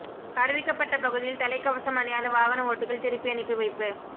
அறிவிக்கப்பட்ட பகுதியில் தலைக்கவசம் அணியாத வாகன ஓட்டிகள் திருப்பி அனுப்பி வைப்பு